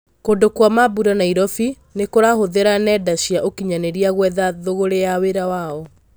Kũndũ kwa mambũra Nairobi nĩkũrahũthĩra nenda cia ũkinyanĩria gwetha thũgũrĩ ya wĩra wao.